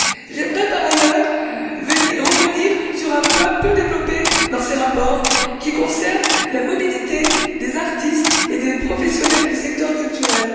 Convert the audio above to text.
J'aimerais, par ailleurs, revenir sur un point peu développé dans ces rapports, qui concerne la mobilité des artistes et des professionnels du secteur culturel.